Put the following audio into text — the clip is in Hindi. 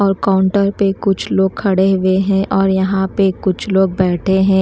और काउंटर पे कुछ लोग खड़े हुए है और यहाँ पे कुछ लोग बैठे हैं।